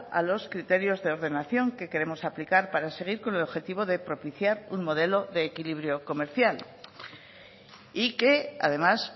a los criterios de ordenación que queremos aplicar para seguir con el objetivo de propiciar un modelo de equilibrio comercial y que además